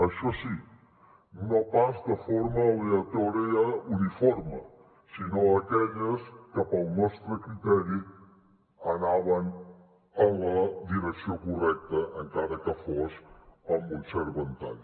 això sí no pas de forma aleatòria uniforme sinó aquelles que pel nostre criteri anaven en la direcció correcta encara que fos amb un cert ventall